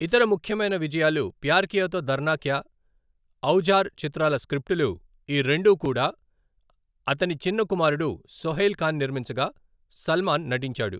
ఇతర ముఖ్యమైన విజయాలు ప్యార్ కియా తో దర్నా క్యా, ఔజార్ చిత్రాల స్క్రిప్టులు, ఈ రెండూ కూడా అతని చిన్న కుమారుడు సోహైల్ ఖాన్ నిర్మించగా, సల్మాన్ నటించాడు.